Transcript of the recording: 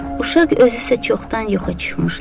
Uşaq özü isə çoxdan yoxa çıxmışdı.